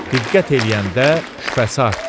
Diqqət eləyəndə şübhəsi artdı.